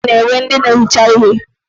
Ụfọdụ ụlọ ọrụ na-ewe ndị na-ehicha ihe.